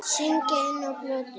Syngja inná plötu.